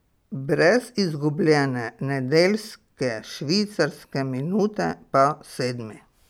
Brez izgubljene nedeljske švicarske minute pa sedmi.